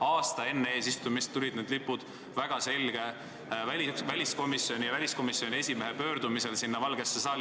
Aasta enne eesistumist pandi need lipud väliskomisjoni esimehe arusaadava pöördumise peale Valgesse saali.